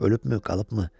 Ölübmü, qalıbmı?